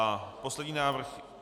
A poslední návrh.